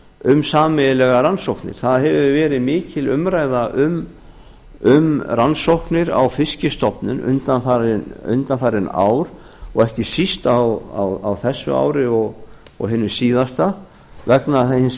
um sameiginlegar rannsóknir það hefur verið mikil umræða um rannsóknir á fiskstofnum undanfarin ár og ekki síst á þessu ári og hinu síðasta vegna hins